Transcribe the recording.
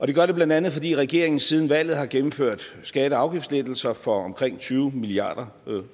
det gør det blandt andet fordi regeringen siden valget har gennemført skatte og afgiftslettelser for omkring tyve milliard